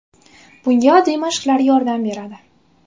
Bunga oddiy mashqlar yordam beradi.